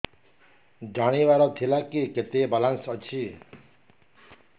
ଜାଣିବାର ଥିଲା କି କେତେ ବାଲାନ୍ସ ଅଛି